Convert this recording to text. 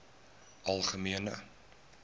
algemene